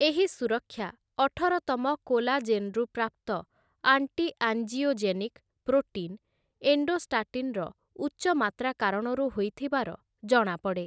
ଏହି ସୁରକ୍ଷା ଅଠରତମ କୋଲାଜେନ୍ ରୁ ପ୍ରାପ୍ତ ଆଣ୍ଟି ଆଞ୍ଜିଓଜେନିକ୍ ପ୍ରୋଟିନ୍, ଏଣ୍ଡୋଷ୍ଟାଟିନ୍‍ର ଉଚ୍ଚ ମାତ୍ରା କାରଣରୁ ହୋଇଥିବାର ଜଣାପଡ଼େ ।